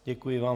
Děkuji vám.